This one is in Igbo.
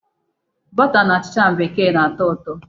Bọta na achịcha bekee na-atọ ụtọ.